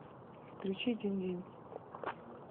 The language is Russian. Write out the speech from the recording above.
включи динь динь